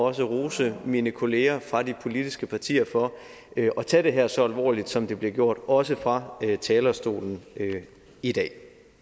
også rose mine kollegaer fra de politiske partier for at tage det her så alvorligt som det er blevet gjort også fra talerstolen i dag